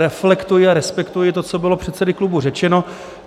Reflektuji a respektuji to, co bylo předsedy klubů řečeno.